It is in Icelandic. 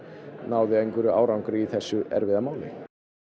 náð árangri í þessu erfiða máli